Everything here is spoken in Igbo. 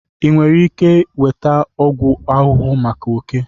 Ị nwere ike nweta ọgwụ ahụhụ maka oke?